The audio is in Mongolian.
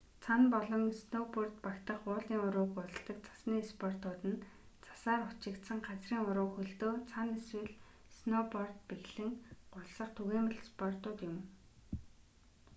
цана болон снөүборд багтах уулын уруу гулсдаг цасны спортууд нь цасаар хучигдсан газрын уруу хөлдөө цана эсвэл снөүцорд бэхлэн гулсах түгээмэл спортууд юм